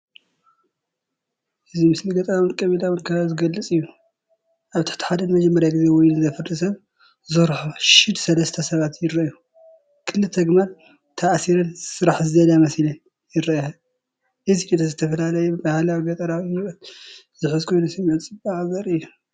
እዚ ምስሊ ገጠራውን ቀቢላውን ከባቢ ዝገልጽ እዩ። ኣብ ትሕቲ ሓደ ንመጀመርታ ግዜ ወይኒ ዘፍሪ ሰብ ዝሰርሖ ሸድ ሰለስተ ሰባት ይረኣዩ። ክልተ ኣግማል ተኣሲረን፡ስራሕ ዝደልያ መሲለን ይረኣያ። እዚ ነቲ ዝተፈላለየ ባህላዊ ገጠራዊ ህይወት ዝሕዝ ኮይኑ፡ስምዒት ጽባቐን ዘርኢ እዩ።